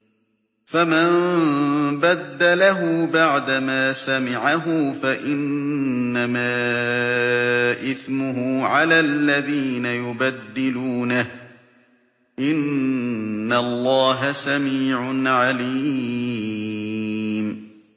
فَمَن بَدَّلَهُ بَعْدَمَا سَمِعَهُ فَإِنَّمَا إِثْمُهُ عَلَى الَّذِينَ يُبَدِّلُونَهُ ۚ إِنَّ اللَّهَ سَمِيعٌ عَلِيمٌ